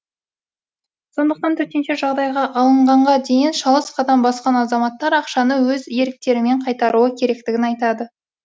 сондықтан төтенше жағдайға алынғанға дейін шалыс қадам басқан азаматтар ақшаны өз еріктерімен қайтаруы керектігін айтады